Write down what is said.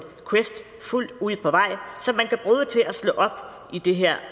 quest fuldt ud på vej at slå op i det her